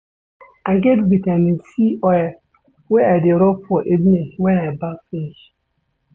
I get Vitamin C oil wey I dey rob for evening wen I baff finish.